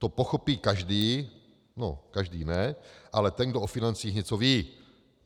To pochopí každý - no, každý ne, ale ten, kdo o financích něco ví.